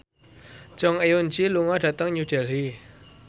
Jong Eun Ji lunga dhateng New Delhi